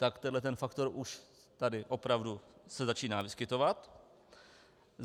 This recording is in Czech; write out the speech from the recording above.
Tak tento faktor už tady opravdu se začíná vyskytovat.